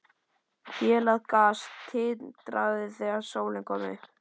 Hélað gras tindraði þegar sólin kom upp.